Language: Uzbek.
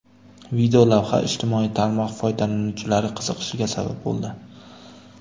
Videolavha ijtimoiy tarmoq foydalanuvchilari qiziqishiga sabab bo‘ldi.